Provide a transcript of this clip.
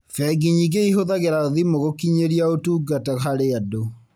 Bengi nyingĩ ihũthagĩra thimũ gũkinyiria ũtungata harĩ andũ